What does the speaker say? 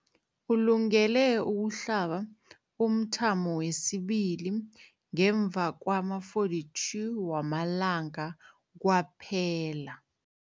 Ulungele ukuhlaba umthamo wesibili ngemva kwama-42 wamalanga kwaphela.